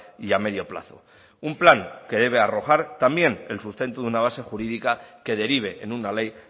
y a medio plazo un plan que debe arrojar también el sustento de una base jurídica que derive en una ley